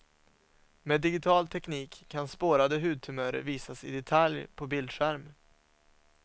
Med digital teknik kan spårade hudtumörer visas i detalj på bildskärm.